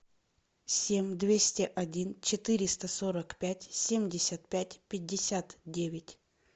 семь двести один четыреста сорок пять семьдесят пять пятьдесят девять